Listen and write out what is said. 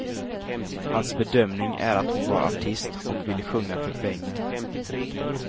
Hans bedömning är att hon var artist och ville sjunga för pengar.